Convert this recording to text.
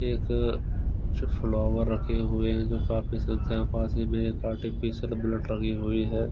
एक अच्छा फ्लावर रखे हुए हैं जो काफी सजा पास ही में आर्टिफिशियल बुलेट लगी हुई है।